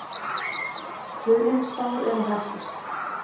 Hulin sár eru hættust.